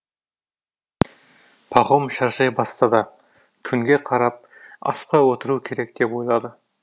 пахом шаршай бастады күнге қарап асқа отыру керек деп ойлады